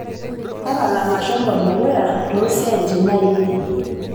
tapala mashomo dukuya toosiatin ainei